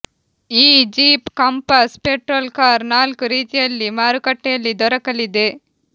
ಈ Jeep Compass petrol car ನಾಲ್ಕು ರೀತಿಯಲ್ಲಿ ಮಾರುಕಟ್ಟೆಯಲ್ಲಿ ದೊರಕಲಿದೆ